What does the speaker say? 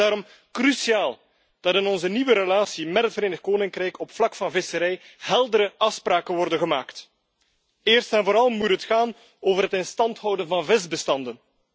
Het is daarom cruciaal dat in onze nieuwe relatie met het Verenigd Koninkrijk op het vlak van de visserij heldere afspraken worden gemaakt. Eerst en vooral moet het gaan over het in stand houden van de visbestanden.